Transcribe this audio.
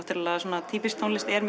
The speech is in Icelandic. þessi svona týpíska tónlist er